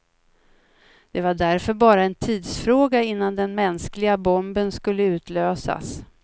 Det var därför bara en tidsfråga innan den mänskliga bomben skulle utlösas.